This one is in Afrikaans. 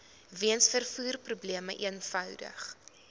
weens vervoerprobleme eenvoudig